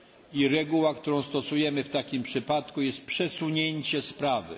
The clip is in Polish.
I regułą, którą stosujemy w takim przypadku, jest przesunięcie sprawy.